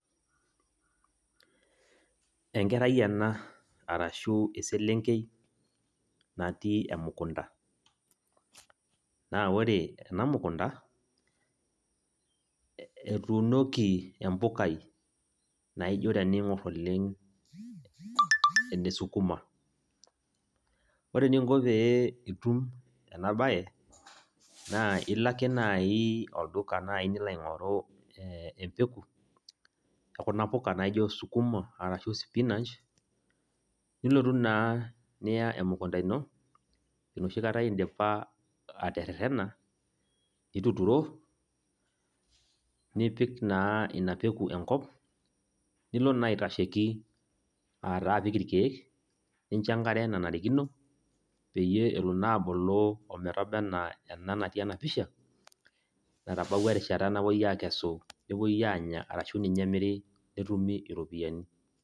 Enkerai ena arashu eselenkei, natii emukunda. Na ore ena mukunta, etuunoki empukai, naijo teniing'or oleng, enesukuma. Ore eninko pee itum enabae, naa ilo ake nai olduka nai nilo aing'oru empeku, ekuna puka naijo sukuma arashu spinach, nilotu naa niya emukunda ino, enoshi kata idipa aterrerrena, nituturo, nipik naa ina peku enkop, nilo naa aitasheki ataa apik irkeek, nincho enkare nanarikino, peyie elo naa abulu ometaba enaa ena natii enapisha, natabawua erishata napoi akesu, nepoi anya, arashu ninye emiri netumi iropiyiani.